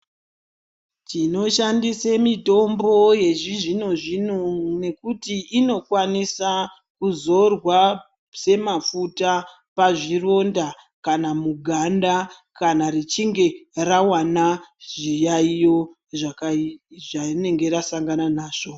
Tinoshandise mitombo yechizvino zvino nekuti inokwanisa kuzorwa semafuta pazvironda kana muganda kana richinge rawana zviyaiyo zvarinenge rasangana nazvo.